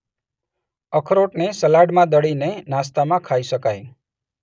અખરોટને સલાડમાં દળીને નાસ્તામાં ખાઈ શકાય.